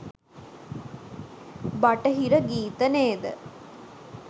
බටහිර ගීත නේද?